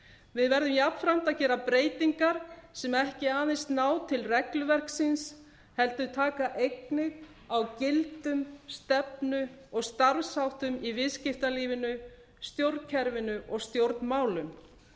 við verðum jafnframt að gera breytingar sem ekki aðeins ná til regluverksins heldur taka einnig á gildum stefnu og starfsháttum í viðskiptalífinu stjórnkerfinu og stjórnmálum